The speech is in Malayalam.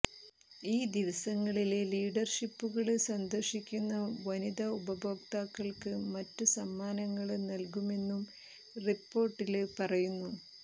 ഈ ദിവസങ്ങളില് ഡീലര്ഷിപ്പുകള് സന്ദര്ശിക്കുന്ന വനിതാ ഉപഭോക്താക്കള്ക്ക് മറ്റ് സമ്മാനങ്ങള് നല്കുമെന്നും റിപ്പോര്ട്ടില് പറയുന്നു